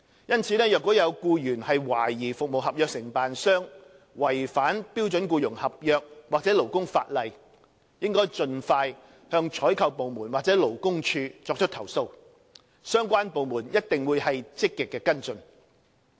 因此，若有僱員懷疑服務合約承辦商違反標準僱傭合約或勞工法例，應盡快向採購部門或勞工處作出投訴，相關部門一定會積極跟進。